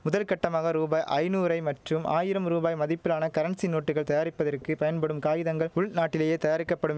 முதற்கட்டமாக ரூபாய் ஐநூறை மற்றும் ஆயிரம் ரூபாய் மதிப்பிலான கரன்சி நோட்டுகள் தயாரிப்பதற்கு பயன்படும் காகிதங்கள் உள்நாட்டிலேயே தயாரிக்கப்படும்